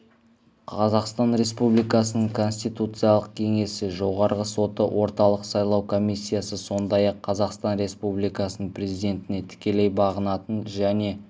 қазақстан республикасының конституциялық кеңесі жоғарғы соты орталық сайлау комиссиясы сондай-ақ қазақстан республикасының президентіне тікелей бағынатын және